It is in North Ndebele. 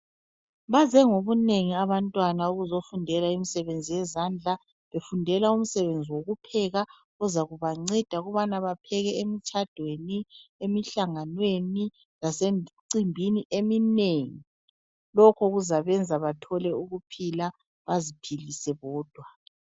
Baze ngobunengi abantwana ukuzofundela imisebenzi yezandla befundela umsebenzi wokupheka ozakubanceda ukubana bapheke emtshadweni , emihlanganweni lasemcimbini eminengi. Lokho kuzabenza bathole ukuphila baziphilise bodwa.